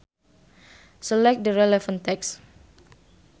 Select the relevant text.